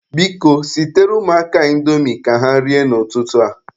Biko, sitere ụmụaka a indomi ka ha rie n'ụtụtụ a.